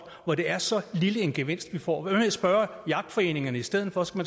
hvor det er så lille en gevinst vi får hvad med at spørge jagtforeningerne i stedet for så